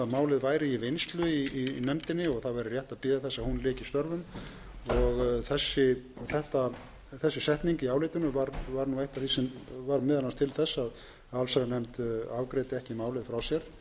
málið væri í vinnslu í nefndinni og það væri rétt að bíða þess að hún lyki störfum og þessi setning í álitinu var eitt af því sem varð meðal annars til þess að allsherjarnefnd afgreiddi ekki málið frá sér þar